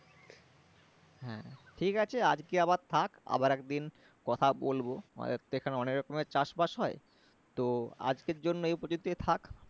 হ্যাঁ ঠিকআছে আজকে আবার থাক আবার একদিন কথা বলবো আমাদের তো এখানে অনেক রকমের চাষবাস হয় তো আজকের জন্য এই পর্যন্তই থাক